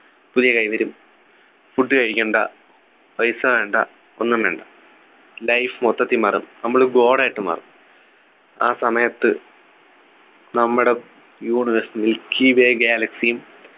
പുതിയ കൈ വരും food കഴിക്കണ്ട പൈസ വേണ്ട ഒന്നും വേണ്ട life മൊത്തത്തിൽ മാറും നമ്മള് god ആയിട്ട് മാറും ആ സമയത്ത് നമ്മുടെ universe milkyway galaxy യും